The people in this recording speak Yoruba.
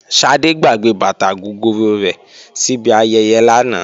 Ṣadé gbàgbé bàtà gogoro rẹ̀ síbi ayẹyẹ lánàá